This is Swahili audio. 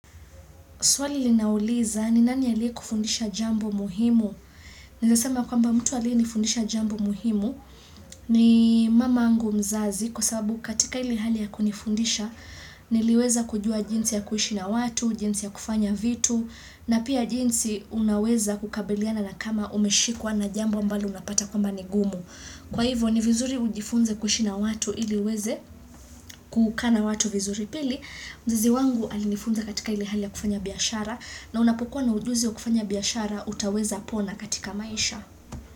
Swali linauliza ni nani aliye kufundisha jambo muhimu? Naweza sema kwamba mtu aliye nifundisha jambo muhimu ni mamaangu mzazi kwa sababu katika ile hali ya kunifundisha niliweza kujua jinsi ya kuishi na watu, jinsi ya kufanya vitu na pia jinsi unaweza kukabiliana na kama umeshikwa na jambo mbalo unapata kwamba ni gumu. Kwa hivyo ni vizuri ujifunze kuishi na watu ili uweze kukaa na watu vizuri pili. Mzizi wangu alinifunza katika ile hali ya kufanya biashara na unapokuwa na ujuzi wa kufanya biashara utaweza pona katika maisha.